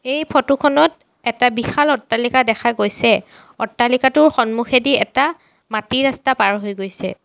এই ফটো খনত এটা বিশাল অট্টালিকা দেখা গৈছে অট্টালিকাটোৰ সন্মুখেদি এটা মাটিৰ ৰাস্তা পাৰ হৈ গৈছে।